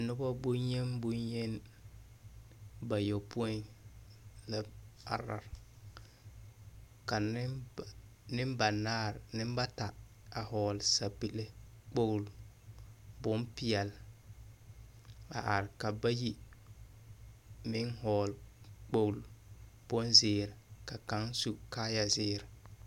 Dɔbɔ boŋyen boŋyen la bayɔpõĩ la are ka nemba nembanaar nembata a hɔgle sapile kpogli bompeɛl a are ka bayi meŋ hɔgle kpogli bonzeere ka kaŋ su kaayazeer.